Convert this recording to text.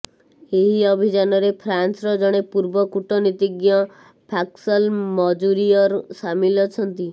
ଏହି ଅଭିଯାନରେ ଫ୍ରାନ୍ସର ଜଣେ ପୂର୍ବ କୂଟନୀତିଜ୍ଞ ପାସ୍କଲ୍ ମଜୁରିୟର୍ ସାମିଲ ଅଛନ୍ତି